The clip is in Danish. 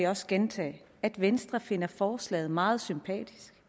også gentage at venstre finder forslaget meget sympatisk